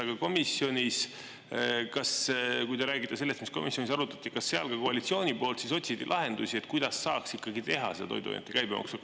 Aga komisjonis, kui te räägite sellest, mis komisjonis arutati, kas seal ka koalitsiooni poolt otsiti lahendusi, kuidas saaks ikkagi teha see toiduainete käibemaksu?